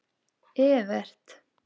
Evert